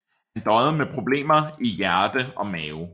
Han døjede med problemer i hjerte og mave